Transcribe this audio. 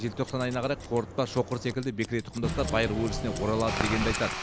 желтоқсан айына қарай қорытпа шоқыр секілді бекіре тұқымдастар байырғы өрісіне оралады дегенді айтады